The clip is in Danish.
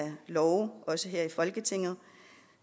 love her i folketinget